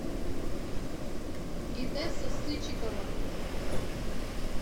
инесса сычикова